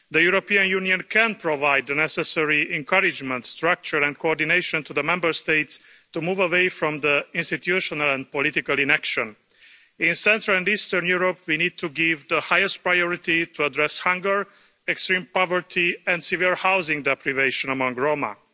The European Union can provide the necessary encouragement, structure and coordination to the Member States to move away from the institutional and political inaction. In Central and Eastern Europe, we need to give the highest priority to address hunger, extreme poverty and severe housing deprivation among Roma.